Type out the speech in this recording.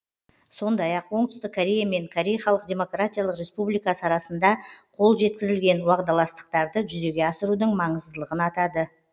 сондай ақ оңтүстік корея мен корей халық демократиялық республикасы арасында қол жеткізілген уағдаластықтарды жүзеге асырудың маңыздылығын атады